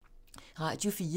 Radio 4